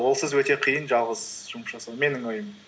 олсыз өте қиын жалғыз жұмыс жасау менің ойым